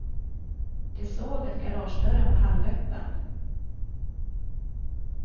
De såg att garagedörren var halvöppen.